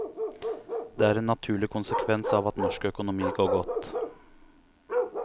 Det er en naturlig konsekvens av at norsk økonomi går godt.